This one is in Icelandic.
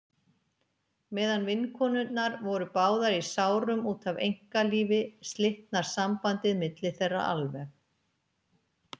Meðan vinkonurnar voru báðar í sárum út af einkalífi slitnar sambandið milli þeirra alveg.